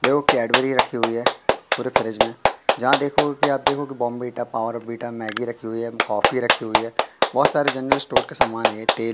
देखो कैडबरी रखी हुई है पूरे फ्रिज में जहां देखोगे कि आप देखो कि बोर्नविटा पावर वीटा मैगी रखी हुई है कॉफी रखी हुई है बहुत सारे जनरल स्टोर के समान है एक तेल--